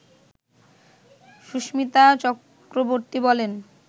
সুস্মিতা চক্রবর্তী বলেন